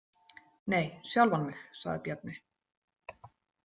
Nei, sjálfan mig, sagði Bjarni.